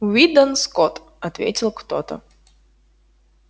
уидон скотт ответил кто-то